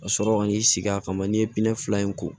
Ka sɔrɔ ka n'i sigi a kama n'i ye fila in ko